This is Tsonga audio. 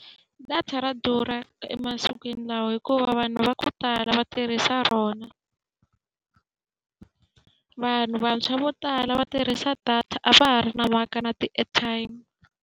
Data ra durha emasikwini lawa hikuva vanhu va ku tala va tirhisa rona vanhu vantshwa vo tala va tirhisa data a va ha ri na mhaka na ti-airtime.